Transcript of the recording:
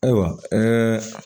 Ayiwa ɛɛ